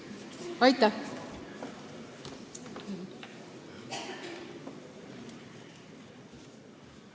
Aitäh!